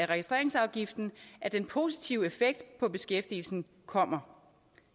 registreringsafgiften at den positive effekt på beskæftigelsen kommer